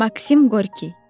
Maksim Qorki.